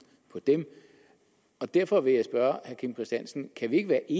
på dem derfor vil jeg spørge herre kim christiansen kan vi ikke i